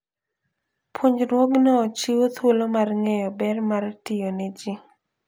Puonjruogno chiwo thuolo mar ng'eyo ber mar tiyo ne ji.